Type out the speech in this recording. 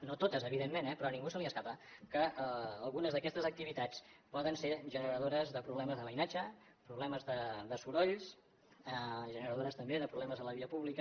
no totes evidentment però a ningú se li escapa que algunes d’aquestes activitats poden ser generadores de problemes de veïnatge problemes de sorolls generadores també de problemes a la via pública